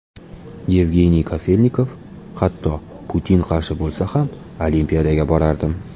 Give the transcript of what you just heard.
Yevgeniy Kafelnikov: Hatto Putin qarshi bo‘lsa ham, Olimpiadaga borardim.